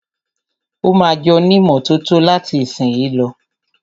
Ó ma jónímọ́tótó láti ìsìnyí lọ.